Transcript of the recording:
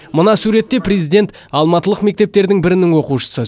мына суретте президент алматылық мектептердің бірінің оқушысы